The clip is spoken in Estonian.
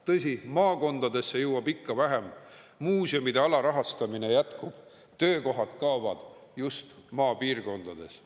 Tõsi, maakondadesse jõuab ikka vähem, muuseumide alarahastamine jätkub, töökohad kaovad just maapiirkondades.